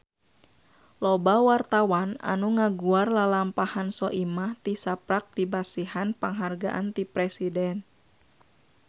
Loba wartawan anu ngaguar lalampahan Soimah tisaprak dipasihan panghargaan ti Presiden